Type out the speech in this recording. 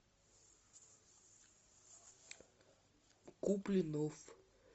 куплинов